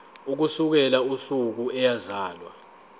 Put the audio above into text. ukusukela usuku eyazalwa